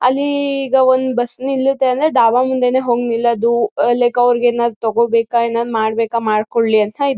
ಅಲ್ಲಿ ಈಗ ಒಂದ್ ಬಸ್ ನಿಲ್ಲತ್ತೆ ಅಂದ್ರೆ ಡಾಬಾ ಮುಂದೇನೆ ಹೋಗ್ ನಿಲ್ಲೋದು ಲೈಕ್ ಅವ್ರಿಗ್ ಏನ್ ತಗೋಬೇಕಾ ಏನಾರ್ ಮಾಡ್ಬೇಕಾ ಮಾಡಿಕೊಳ್ಳಲಿ ಅಂತ.